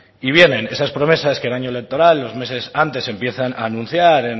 y vienen esas promesas que el año electoral y los meses antes empiezan a anunciar